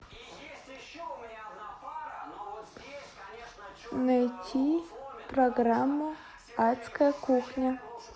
найти программу адская кухня